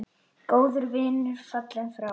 Góður vinur fallinn frá.